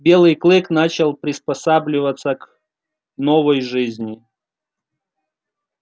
белый клык начинал приспосабливаться к новой жизни